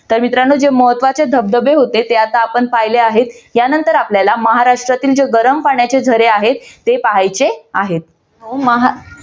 तर मित्रांनो जे महत्वाचे धबधबे होते ते आता आपण पाहिले आहेत. यानंतर आपल्याला महाराष्ट्रातील जे गरम पाण्याचे झरे आहेत ते पाहायचे आहेत. हम्म आह